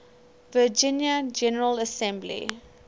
virginia general assembly